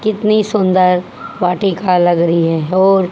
कितनी सुंदर वाटिका लग रही है और--